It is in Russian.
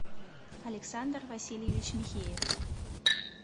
александр васильевич михеев